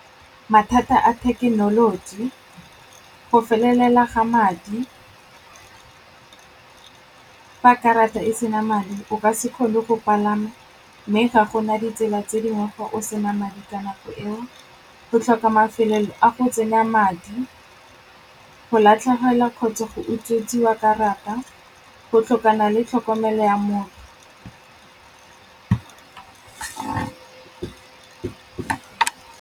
Mathata a thekenoloji, go felelela ga madi, fa karata e sena madi o ka se kgone go palama mme ga gona ditsela tse dingwe fa o se na madi ka nako eo, go tlhoka mafelo a go tsenya madi, go latlhegelwa kgotsa go utswetsiswa karata, go tlhokana le tlhokomelo ya